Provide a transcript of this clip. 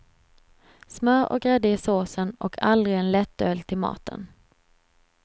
Smör och grädde i såsen och aldrig en lättöl till maten.